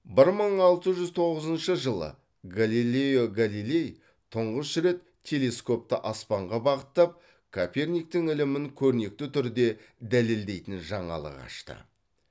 бір мың алты жүз тоғызыншы жылы галилео галилей тұңғыш рет телескопты аспанға бағыттап коперниктің ілімін көрнекті түрде дәлелдейтін жаңалық ашты